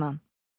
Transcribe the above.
İxtisarla.